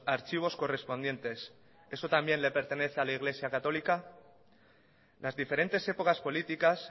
archivos correspondientes eso también le pertenece a la iglesia católica las diferentes épocas políticas